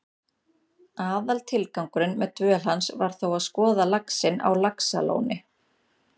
Aðaltilgangurinn með dvöl hans var þó að skoða laxinn á Laxalóni.